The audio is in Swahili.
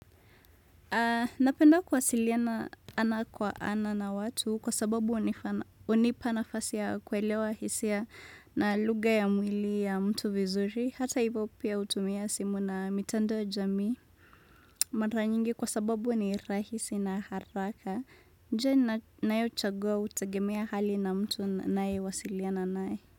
Napenda kuwasiliana ana kwa ana na watu kwa sababu unipa nafasi ya kuelewa hisia na lugha ya mwili ya mtu vizuri hata ivo pia hutumia simu na mitandao ya jamii mara nyingi kwa sababu ni rahisi na haraka njia nayo chagua hutegemea hali na mtu naye wasiliana nae.